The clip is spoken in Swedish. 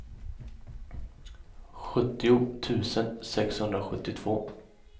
sjuttio tusen sexhundrasjuttiotvå